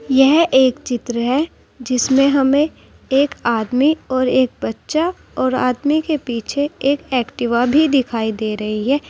यह एक चित्र है जिसमें हमें एक आदमी और एक बच्चा और आदमी के पीछे एक एक्टिवा भी दिखाई दे रही है।